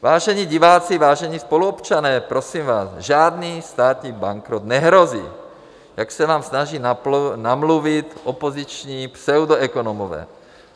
Vážení diváci, vážení spoluobčané, prosím vás, žádný státní bankrot nehrozí, jak se vám snaží namluvit opoziční pseudoekonomové.